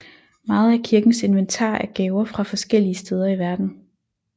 Meget af kirkens inventar er gaver fra forskellige steder i verden